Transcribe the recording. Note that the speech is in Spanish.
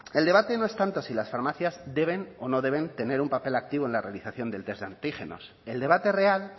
el debate no es tanto si las farmacias deben o no deben tener un papel activo en la realización del test de antígenos el debate real